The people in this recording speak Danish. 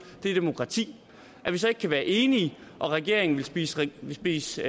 det er demokrati at vi så ikke kan være enige og regeringen vil spise vil spise